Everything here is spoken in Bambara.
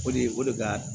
O de ye o de ka